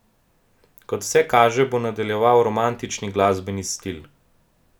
Kot vse kaže, bo nadaljeval romantični glasbeni stil.